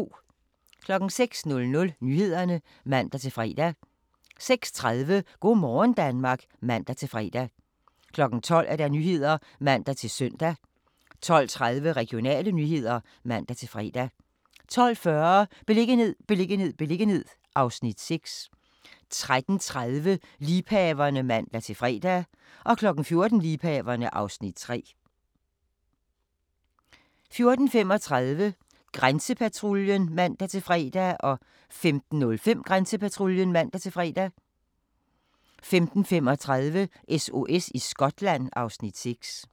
06:00: Nyhederne (man-fre) 06:30: Go' morgen Danmark (man-fre) 12:00: Nyhederne (man-søn) 12:30: Regionale nyheder (man-fre) 12:40: Beliggenhed, beliggenhed, beliggenhed (Afs. 6) 13:30: Liebhaverne (man-fre) 14:00: Liebhaverne (Afs. 3) 14:35: Grænsepatruljen (man-fre) 15:05: Grænsepatruljen (man-fre) 15:35: SOS i Skotland (Afs. 6)